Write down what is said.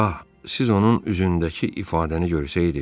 Ah, siz onun üzündəki ifadəni görsəydiz.